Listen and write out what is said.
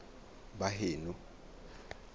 baheno